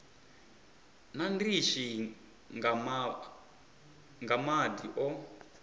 na ndishi nga madi o